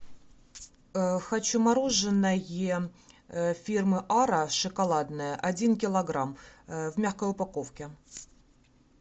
хочу мороженое фирмы ара шоколадное один килограмм в мягкой упаковке